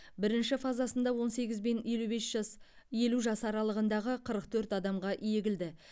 бірінші фазасында он сегіз бен елу бес жас елу жас аралығындағы қырық төрт адамға егілді